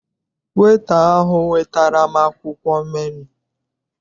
Weta ahụ wetara m akwụkwọ menu.